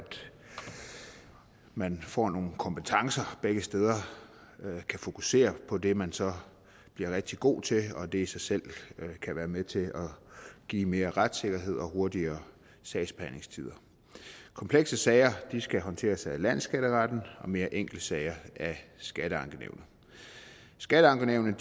man får nogle kompetencer begge steder og kan fokusere på det man så bliver rigtig god til og det i sig selv kan være med til at give mere retssikkerhed og hurtigere sagsbehandlingstider komplekse sager skal håndteres af landsskatteretten og mere enkle sager af skatteankenævnet skatteankenævnet